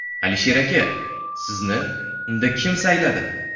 Alisher aka, sizni unda kim sayladi?